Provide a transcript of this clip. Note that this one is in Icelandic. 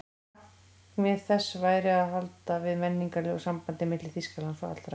Markmið þess væri að halda við menningarlegu sambandi milli Þýskalands og allra